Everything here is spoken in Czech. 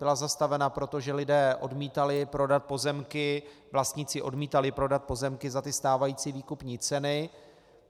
Byla zastavena proto, že lidé odmítali prodat pozemky, vlastníci odmítali prodat pozemky za stávající výkupní ceny.